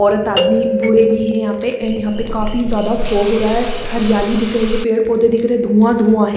औरत आदमी बूढ़े भी हैं यहाँ पे एंड यहाँ पे काफी ज्यादा फोग होरा हैं हरयाली दिख रही हैं पेड़ पौधे दिख रहे हैं धुआं धुआं हैं ।